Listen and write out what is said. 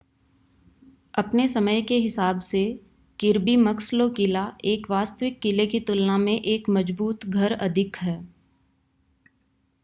अपने समय के हिसाब से किर्बी मक्सलो किला एक वास्तविक किले की तुलना में एक मज़बूत घर अधिक है